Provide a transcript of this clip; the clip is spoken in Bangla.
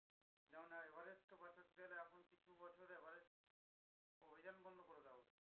যেমন ধর এভারেস্ট কে বাঁচাতে গেলে এখন কিছু বছর এভারেস্ট অভিযান বন্ধ করে দেওয়া উচিত।